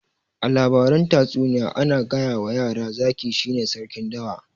A labaran tatsuniya ana gayawa yara zaki shine sarkin dawa